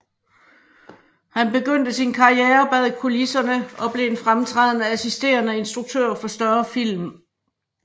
Han begyndte sin karriere bag kulisserne og blev en fremtrædende assisterende instruktør for større film